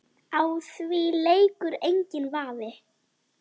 Á því leikur enginn vafi.